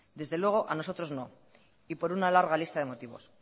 desde luego a nosotros no y por una larga lista de motivos